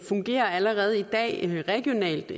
fungerer allerede i dag regionalt